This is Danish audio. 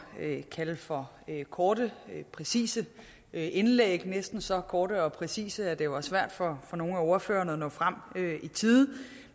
kalde for korte præcise indlæg som næsten var så korte og præcise at det var svært for nogle af ordførerne at nå frem i tide